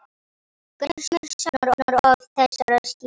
Grímur saknar oft þessara skýja.